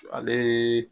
Ale